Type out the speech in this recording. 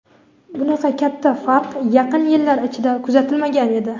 bunaqa katta farq yaqin yillar ichida kuzatilmagan edi.